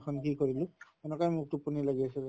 কি কৰিলোঁ এনকাই মোৰ টোপনী লাগি আছিলে